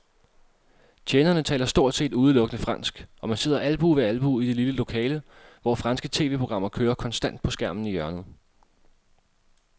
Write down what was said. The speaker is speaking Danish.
Tjenerne taler stort set udelukkende fransk, og man sidder albue ved albue i det lille lokale, hvor franske tv-programmer kører konstant på skærmen i hjørnet.